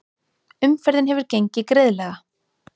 Umferðin hefur gengið greiðlega